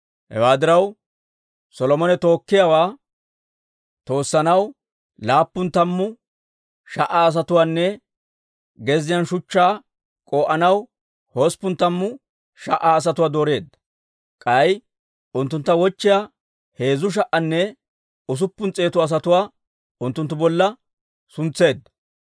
Hewaa diraw, Solomone tookkiyaawaa toossanaw laappun tammu sha"a asatuwaanne gezziyaan shuchchaa k'oo'anaw hosppun tammu sha"a asatuwaa dooreedda; k'ay unttuntta wochchiyaa heezzu sha"anne usuppun s'eetu asatuwaa unttunttu bolla suntseedda.